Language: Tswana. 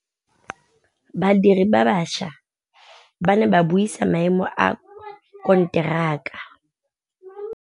Badiri ba baša ba ne ba buisa maêmô a konteraka.